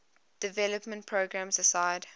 development programs aside